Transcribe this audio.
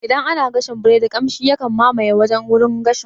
Idan ana gashin biredi kamshi yakan mamayi wurin gashin